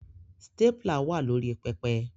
Stapler wà lórí pẹpẹ